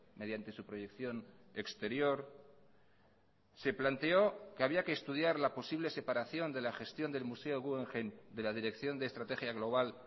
mediante su proyección exterior se planteó que había que estudiar la posible separación de la gestión del museo guggenheim de la dirección de estrategia global